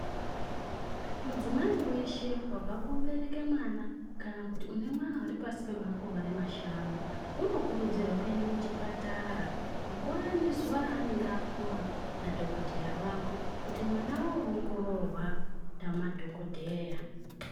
Mudzimai weshe wabva kobereke mwana kana kuti une mwana uri pasi pemakore mashanu unokurudzirwa kuenda kuchipatara panguva nezuva raanenge apuwa nadhokodheyaa wake kuti oongororwa namadhokodheyaa.